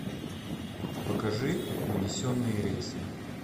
покажи унесенные рейсом